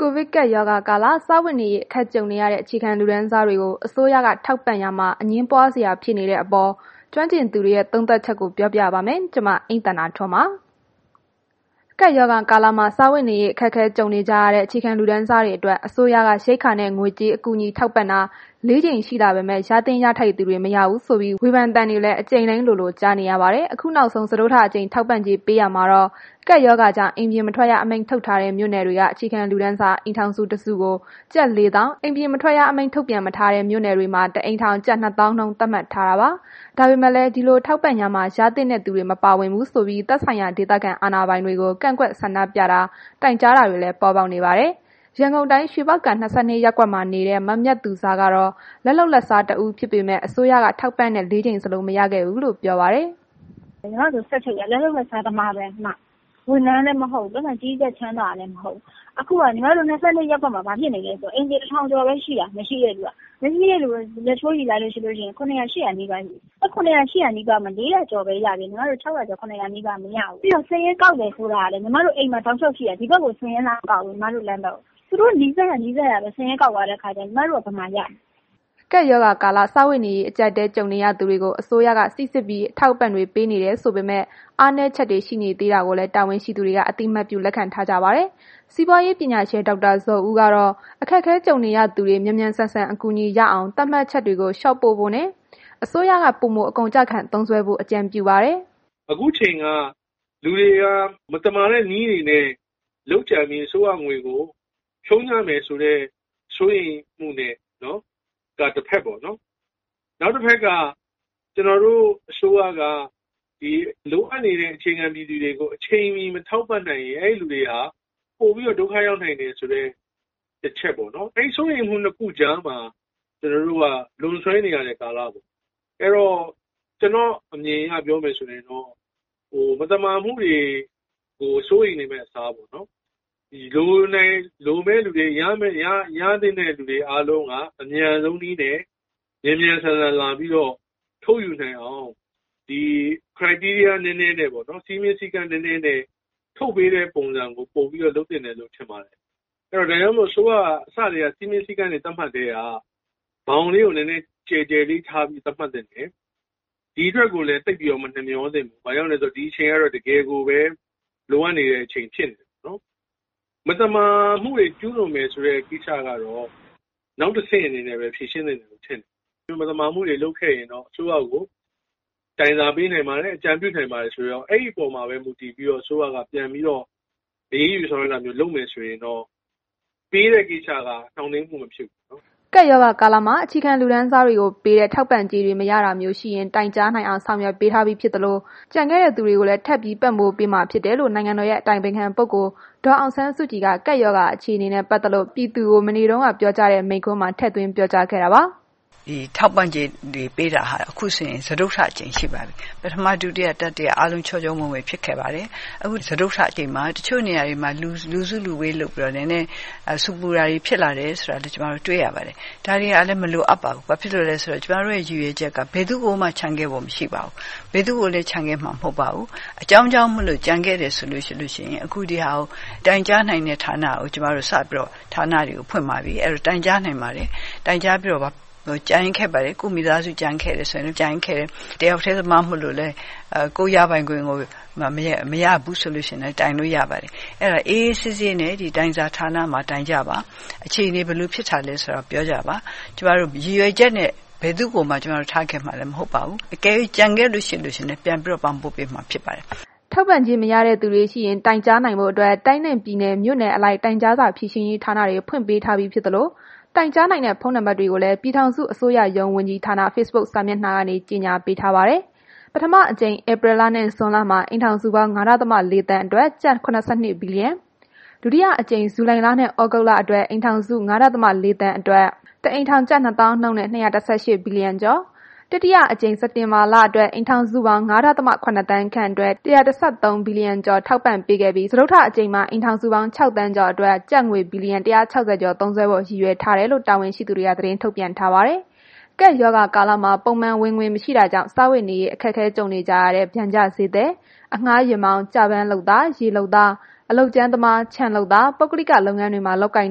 ကိုဗစ်ကပ်ရောဂါကာလ စားဝတ်နေရေး အခက်ကြုံနေရတဲ့ အခြေခံလူတန်းစားတွေကို အစိုးရက ထောက်ပံ့ရာမှာ အငြင်းပွားစရာ ပေါ်နေရတဲ့အပေါ် ကျွမ်းကျင်သူတွေရဲ့ သုံးသပ်ချက်ကို အိမ့်သန္တာထွန်း က ရန်ကုန်မြို့ကနေ စုစည်းပေးပို့ထားပါတယ်။ ကပ်ရောဂါကာလမှာ စားဝတ်နေရေး အခက်အခဲကြုံနေကြရတဲ့ အခြေခံလူတန်းစားတွေအတွက် အစိုးရက ရိက္ခာနဲ့ ငွေကြေး အကူအညီ ထောက်ပံ့တာ ၄ ကြိမ် ရှိလာပေမဲ့ ရသင့်ရထိုက်သူတွေ မရဘူးဆိုပြီး ဝေဖန်သံတွေလည်း အကြိမ်တိုင်းလိုလို ကြားနေရပါတယ်။ အခုနောက်ဆုံး စတုတ္ထအကြိမ်ထောက်ပံ့ကြေး ပေးရာမှာတော့ ကပ်ရောဂါကြောင့် အိမ်ပြင်မထွက်ရ အမိန့်ထုတ်ထားတဲ့ မြို့နယ်တွေက အခြေခံလူတန်းစား အိမ်ထောင်စု ၁ စုကို ကျပ် ၄၀၀၀၀ အိမ်ပြင်မထွက်ရ အမိန့်ထုတ်ပြန်မထားတဲ့ မြို့နယ်တွေမှာ ၁ အိမ်ထောင် ကျပ်၂၀၀၀၀ နှုန်း သတ်မှတ်ထားတာပါ။ ဒါပေမဲ့လည်း ဒီလိုထောက်ပံ့ရာမှာ ရသင့်တဲ့သူတွေ မပါဝင်ဘူးဆိုပြီး သက်ဆိုင်ရာ ဒေသခံအာဏာပိုင်တွေကို ကန့်ကွက်ဆန္ဒပြတာ တိုင်ကြားတာတွေလည်း ပေါ်ပေါက်နေပါတယ်။ ရန်ကုန်တိုင်း ရွှေပေါက္ကံ ၂၂ ရပ်ကွက်မှာနေတဲ့ မမြတ်သူဇာကတော့ လက်လုပ်လက်စားတဦး ဖြစ်ပေမယ့် အစိုးရကထောက်ပံ့တဲ့ ၄ ကြိမ် စလုံးမရခဲ့ဘူးလို့ ပြောပါတယ်။ “ညီမတို့က စက်ချုပ်တယ်၊ လက်လုပ်လက်စားသမားပဲ၊ ဝန်ထမ်းလည်းမဟုတ်ဘူး။ ပိုက်ဆံချမ်းသာတဲ့သူလည်းမဟုတ်ဘူး။ ခု ကျမတို့ ၂၂ ရက်ကွက်မှာ ဘာဖြစ်နေလဲဆိုတော့ အိမ်ခြေတစ်ထောင်ကျော်ပဲရှိတာ မရှိတဲ့သူက ၇၀၀ ၈၀၀ လောက်ရှိတယ်။ အဲ့ဒီမှာ ၄၀၀ ကျော်ပဲရတယ်။ ကျန်တဲ့ ကျွန်မတို့က မရဘူး။ ပြီးတော့ စာရင်းကောက်တယ်ဆိုတာကလည်း ကျွန်မတို့ အိမ်မှာတောက်လျောက်ရှိတယ်။ ကျွန်မတို့ လမ်းထဲကို စာရင်းလာမကောက်ဘူး။ သူတို့နီးစပ်ရာ နီးစပ်ရာပဲ ကောက်သွားတဲ့ခါကျတော့ ကျွန်မတို့က မရဘူး။” ကပ်ရောဂါကာလ စားဝတ်နေရေး အကြပ်အတည်း ကြုံနေရသူတွေကို အစိုးရက စိစစ်ပြီး အထောက်အပံ့တွေ ပေးနေတယ် ဆိုပေမဲ့ အားနည်းချက်တွေ ရှိနေတာကိုလည်း တာဝန်ရှိသူတွေက အသိအမှတ်ပြုလက်ခံထားကြပါတယ်။ စီးပွားရေးပညာရှင် ဒေါက်တာဇော်ဦးကတော့ အခက်အခဲကြုံနေရတဲ့သူတွေ မြန်မြန်ဆန်ဆန် အကူအညီရအောင် သတ်မှတ်ချက်တွေကို လျှော့ပေါ့ဖို့နဲ့ အစိုးရက ပိုမိုအကုန်အကျခံသုံးစွဲဖို့ အကြံပြုပါတယ်။ “အခုအချိန်က လူတွေက မသမာတဲ့နည်းတွေနဲ့လုပ်ကြံပြီး အစိုးရငွေ ကို ဖြုန်းကြမယ်ဆိုတဲ့ စိုးရိမ်မှုနဲ့ပေါ့၊ ဒါကတစ်ဖက်ပေါ့နှော်။ နောက်တစ်ဖက်က ကျွန်တော်တို့ အစိုးရ က လိုအပ်နေတဲ့ ပြည်သူတွေကို အချိန်မီမထောက်ပံ့နိုင်ရင် အဲ့ဒီလူတွေဟာ ပိုပြီးတော့ ဒုက္ခရောက်နိုင် တယ်ဆိုတဲ့ တစ်ချက်ပေါ့နှော်၊ အဲ့ဒီ စိုးရိမ်မှု နှစ်ခုကြားမှာ လွန်ဆွဲနေရတဲ့ ကာလပေါ့။ အဲ့တော့ ကျွန်တော်အမြင်အရ ပြောမယ်ဆိုရင်တော့ မသမာမှုတွေကို စိုးရိမ်နေမယ့်အစားပေါ့ လိုတဲ့သူ ရသင့် တဲ့သူတွေအားလုံးဟာ အမြန်ဆုံးနည်းနဲ့ မြန်မြန်ဆန်ဆန်လာပြီးတော့ ထုတ်ယူနိုင်အောင် စည်းမျဉ်း စည်းကမ်းနည်းနည်နဲ့ ထုတ်ယူနိုင်တဲ့နည်းကို ပိုပြီးတော့ လုပ်သင့်တယ်လို့ ထင်တယ်။ အဲ့ဒါကြောင့် အစိုးရက စည်းမျဉ်းစည်းကမ်းတွေ သတ်မှတ်ကတည်းက ဘောင်လေးကို နည်းနည်း ကျယ်ကျယ် ထားပြီး သတ်မှတ်သင့်တယ်။ ဒီအတွက်ကိုလည်း သိပ်ပြီးတော့ မနှမျောသင့်ဘူး၊ ဘာလို့လည်းဆိုတော့ ဒီအချိန်က တကယ်ကို လိုအပ်နေတဲ့ အချိန်ဖြစ်နေတယ်ပေါ့၊ မသမာမှုတွေကျူးလွန်မယ်ဆိုတဲ့ ကိစ္စက တော့ နောက်တစ်ဆင့်အနေနဲ့ပဲ ဖြေရှင်းသင့်တယ်လို့ထင်တယ်။ ဒီလို မသမာမှုတွေလုပ်ခဲ့ရင်တော့ အစိုးရကို တိုင်စာပို့နိုင်ပါတယ်၊ အကြံပေးနိုင်ပါတယ်ဆိုတာမျိုး၊ အဲ့ဒီအပေါ်မှာပဲ အစိုးရက အရေးယူ ဆောင်ရွက်တာမျိုးလုပ်မယ်ဆိုရင်တော့ ပေးတဲ့ကိစ္စက နှောင့်နှေးမှုမဖြစ်ဘူးပေါ့။” ကပ်ရောဂါကာလမှာ အခြေခံလူတန်းစားတွေကိုပေးတဲ့ ထောက်ပံ့ကြေးတွေ မရတာမျိုးရှိရင် တိုင်ကြားနိုင်အောင် ဆောင်ရွက်ပေးထားပြီးဖြစ်သလို ကျန်ခဲ့တဲ့ သူတွေကိုလည်း ထပ်ပြီးပံ့ပိုးပေးမှာဖြစ်တယ်လို့ နိုင်ငံတော်ရဲ့ အတိုင်ပင်ခံပုဂ္ဂိုလ် ဒေါ်အောင်ဆန်းစုကြည်က ကပ်ရောဂါအခြေအနေနဲ့ ပတ်သက်လို့ ပြည်သူလူထုကို မနေ့တုန်းကပြောကြားတဲ့ မိန့်ခွန်းမှာ ထည့်သွင်းပြောကြားခဲ့ပါတယ်။ “ဒီထောက်ပံ့ကြေးတွေပေးတာဟာ ခုဆိုရင် စတုတ္ထအကြိမ်ရှိပါပြီ။ ပထမ ဒုတိယ တတိယ အားလုံး ချောချောမွေ့မွေ့ဖြစ်ခဲ့ပါတယ်။ အခု စတုတ္ထအကြိမ်မှာ တစ်ချို့နေရာတွေမှာ လူစုလူဝေးလုပ်ပြီးတော့ နည်းနည်း ဆူပူတာတွေဖြစ်လာတယ်ဆိုပြီးတော့ ကျွန်မတို့ တွေ့ရပါတယ်။ ဒါတွေက မလိုအပ်ပါဘူး။ ဘာဖြစ်လို့လည်းဆိုတော့ ကျွန်မတို့က ဘယ်သူ့ကိုမှ ချန်ခဲ့ဖို့ မရှိပါဘူး။ ဘယ်သူ့ကိုလည်း ချန်ခဲ့မှာ မဟုတ်ပါဘူး။ အကြောင်းကြောင်းမို့လို့ ကျန်ခဲ့တယ်ဆိုလို့ရှိရင် တိုင်ကြားနိုင်တဲ့ ဌာနတွေ ကျွန်မတို့ စပြီးတော့ ဖွင့်ပါပြီ၊ အဲ့တော့ တိုင်ကြားနိုင်ပါတယ်။ တိုင်ကြားပြီးတော့ ကျန်ခဲ့တယ်ဆိုလို့ရှိရင် ကိုယ့်မိသားစု ကျန်ခဲ့တယ်၊ တစ်ယောက်တည်းသမားမို့လို့ ကိုယ်ရပိုင်ခွင့်ကို မရဘူးဆိုလို့ရှိရင်လည်း တိုင်လို့ရပါတယ်။ အဲ့တော့ အေးအေးဆေးဆေးနဲ့ ဒီတိုင်စာဌာနမှာတိုင်ကြပါ။ အခြေအနေဘယ်လိုဖြစ် တာလည်းဆိုတာပြောကြပါ။ ကျွန်မတို့ ရည်ရွယ်ချက်နဲ့ ဘယ်သူ့ကိုမှထားခဲ့မှာလည်း မဟုတ်ပါဘူး။ အကယ်၍ ကျန်ခဲ့လို့ရှိရင်လည်း ပြန်ပြီးတော့ ပံ့ပိုးပေးမှာဖြစ်ပါတယ်။” ထောက်ပံ့ကြေးမရကြသူတွေရှိရင် တိုင်ကြားနိုင်ဖို့အတွက် တိုင်းနဲ့ ပြည်နယ်၊ မြို့နယ်အလိုက် တိုင်ကြားစာဖြေရှင်းရေးဌာနတွေ ဖွင့်ပေးထားပြီးဖြစ်သလို တိုင်ကြားနိုင်တဲ့ ဖုန်းနံပါတ်တွေကိုလည်း ပြည်ထောင်စု အစိုးရရုံးဝန်ကြီးဌာန Facebook စာမျက်နှာကနေ ကြေညာပေးထားပါတယ်။ ပထမအကြိမ် ဧပြီလနဲ့ ဇွန်လမှာ အိမ်ထောင်စုပေါင်း ၅.၄ သန်းအတွက် ကျပ် ၇၂ ဘီလီယံ၊ ဒုတိယအကြိမ် ဇူလိုင်နဲ့ သြဂုတ်လအတွက် အိမ်ထောင်စု ၅.၄ သန်းအတွက် တစ်အိမ်ထောင် ကျပ်၂ သောင်းနှုန်းနဲ့ ၂၁၈ ဘီလီယံကျော်၊ တတိယအကြိမ် စက်တင်ဘာလအတွက် အိမ်ထောင်စုပေါင်း ၅.၇ သန်းခန့်အတွက် ၁၁၃ ဘီလီယံကျော် ထောက်ပံ့ခဲ့ပြီး စတုတ္ထအကြိမ်မှာ အိမ်ထောင်စုပေါင်း ၆ သန်းကျော်အတွက် ကျပ်ငွေ ဘီလီယံ ၁၆၀ ကျော် သုံးစွဲဖို့ ရည်ရွယ်ထားတယ်လို့ တာဝန်ရှိသူတွေ သတင်းထုတ်ပြန်ထားပါတယ်။ ကပ်ရောဂါကာလမှာ ပုံမှန်ဝင်ငွေမရှိတာကြောင့် စားဝတ်နေရေး အခက်ကြုံနေကြတဲ့ ပျံကျဈေးသည်၊ အငှားယာဉ်မောင်း၊ ကျပန်းလုပ်သား၊ ရေလုပ်သား၊ အလုပ်ကြမ်းသမား၊ ခြံလုပ်သား၊ ပုဂ္ဂလိက လုပ်ငန်းတွေမှာလုပ်ကိုင်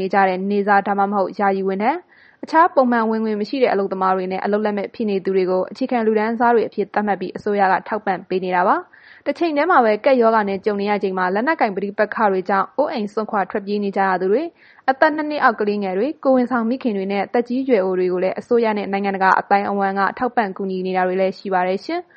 နေတဲ့ နေ့စား ဒါမှမဟုတ် ယာယီဝန်ထမ်း၊ အခြားပုံမှန် ဝင်ငွေမရှိတဲ့ အလုပ်သမားတွေနဲ့ အလုပ်လက်မဲ့ ဖြစ်နေသူတွေကို အခြေခံလူတန်းစားတွေအဖြစ် သတ်မှတ်ပြီး အစိုးရက ထောက်ပံ့နေတာပါ။ တချိန်တည်းမှာပဲ ကပ်ရောဂါနဲ့ ကြုံရချိန်မှာ လက်နက်ကိုင် ပဋိပက္ခတွေကြောင့် အိုးအိမ်စွန့်ခွာပြေးနေကြရသူတွေ၊ အသက် ၂ နှစ်အောက် ကလေးငယ်တွေ၊ ကိုယ်ဝန်ဆောင်မိခင်တွေနှင့် သက်ကြီးရွယ်အိုတွေကိုလည်း အစိုးရနဲ့ နိုင်ငံတကာ အသိုင်းအဝန်းက ထောက်ပံ့ကူညီတာတွေလည်း ရှိပါတယ်ရှင်။